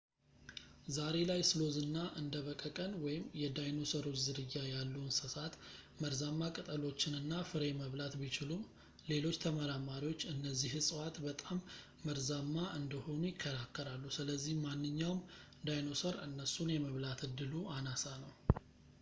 ዛሬ ላይ ስሎዝ እና እንደ በቀቀን የዳይኖሰሮች ዝርያ ያሉ እንሰሳት መርዛማ ቅጠሎችን እና ፍሬ መብላት ቢችሉም፣ ሌሎች ተመራማሪዎች እነዚህ እፅዋት በጣም መርዛማ እንደሆኑ ይከራከራሉ ስለዚህ ማንኛውም ዳይኖሰር እነሱን የመብላት ዕድሉ አናሳ ነው